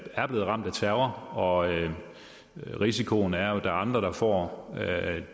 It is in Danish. er blevet ramt af terror og at risikoen er at er andre der får